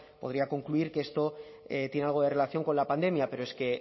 podría concluir que esto tiene algo de relación con la pandemia pero es que